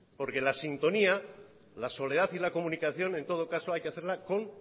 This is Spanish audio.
porque la sintonía la soledad y la comunicación en todo caso hay que hacerla con